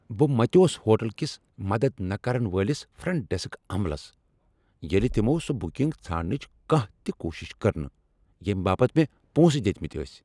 بہٕ متیوس ہوٹلٕ کِس مدد نہٕ كرن وٲلِس فرنٹ ڈیسک عملس ییٚلہ تمو سۄ بُکنگ ژھانڈنٕچ کانٛہہ کوٗشِش كٕر نہٕ ییمہِ باپت مےٚ پونٛسہٕ دِتۍمٕتۍ ٲسۍ ۔